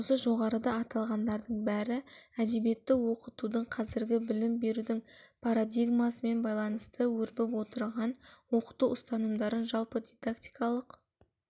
осы жоғарыда аталғандардың бәрі әдебиетті оқытудың қазіргі білім берудің парадигмасымен байланысты өрбіп отырған оқыту ұстанымдарын жалпы дидактикалық